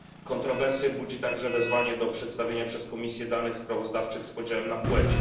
Kontrowersje budzi także wezwanie do przedstawienia przez Komisję danych sprawozdawczych z podziałem na płeć.